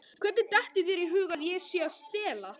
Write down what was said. Hvernig dettur þér í hug að ég sé að stela?